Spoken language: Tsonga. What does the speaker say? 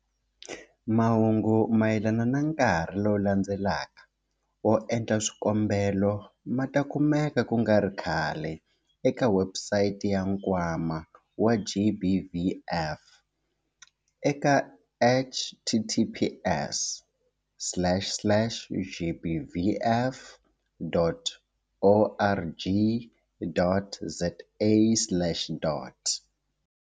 Mahungu mayelana na nkarhi lowu landzelaka wo endla swikombelo ma ta kumeka ku nga ri khale eka webusayiti ya Nkwama wa GBVF eka-https-gbvf.org.za.